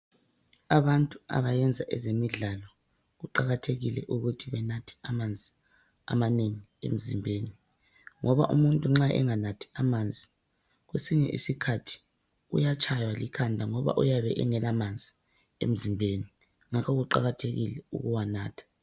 Abantu abayenza ezemidlalo kuqakathekile ukuthi benathe amanzi amanengi emzimbeni ngoba umuntu nxa enganathi amanzi kwesinye isikhathi uyatshaywa likhanda ngoba uyabe engela manzi emzimbeni ngakho kuqakathekile ukuwanatha.